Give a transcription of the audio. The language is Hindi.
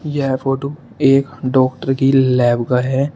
यह फोटो एक डॉक्टर की लैब का है।